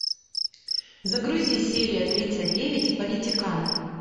загрузи серия тридцать девять политиканы